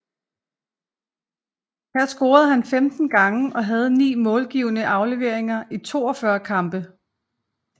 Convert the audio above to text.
Her scorede han 15 gange og havde 9 målgivende afleveringer i 42 kampe